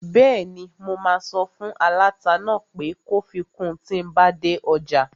Bẹ́ẹ̀ni, mo máa sọ fún aláta náà pé kó fi kun tíi n bá dé ọjà